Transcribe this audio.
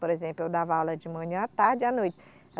Por exemplo, eu dava aula de manhã à tarde e à noite.